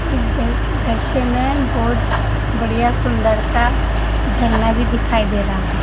इस दृश्य में बहोत बढ़िया सुंदर सा झरना भी दिखाई दे रहा है।